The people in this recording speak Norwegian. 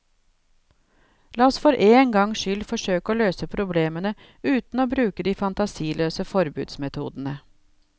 La oss for én gang skyld forsøke å løse problemene uten å bruke de fantasiløse forbudsmetodene.